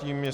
Tím je